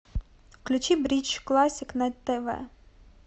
включи бридж классик на тв